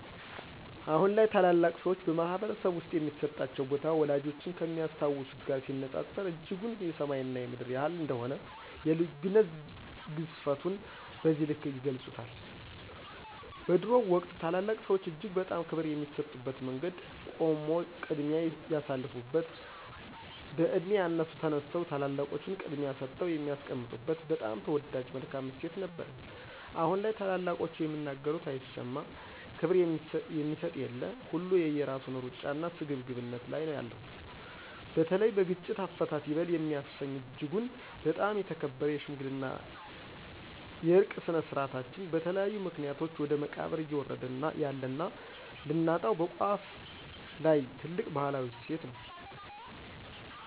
አሁን ላይ ታላላቅ ሰዎች በማህበረሰብ ውስጥ የሚሰጣቸው ቦታ፣ ወላጆቻችን ከሚያስታውሱት ጋር ሲነጻጸር እጅጉን የሰማይ እና የምድር ያህል እንደሆነ የልዩነት ግዝፈቱን በዚህ ልክ ይገልፁታል። በድሮው ወቅት ታላላቅ ሰዎች እጅግ በጣም ክብር የሚሰጡበት መንገድ ቆሞ ቅድሚያ የሳልፋበት፣ በዕድሜ ያነሱ ተነስተው ታላላቆቹን ቅድሚያ ሰጠው የሚያስቀምጡበት በጣም ተወዳጅ መልካም እሴት ነበረን አሁን ላይ ታላላቆቹ የሚናገሩት አይሰማ፣ ክብር የሚሰጥ የለ፣ ሁሉ የየራሱን ሩጫና ስግብግብነት ላይ ነው ያለነው። በተለይ በግጭት አፈታት ይበል የሚያሰኝ እጅጉን በጣም የተከበረ የሽምግልና የዕርቅ ስነ-ስርዓታችን በተለያዩ ምክኒያቶች ወደ መቃብር እዬወረደ ያለና ልናጣው በቋፍ ላይ ትልቅ ባህላዊ እሴት ነው።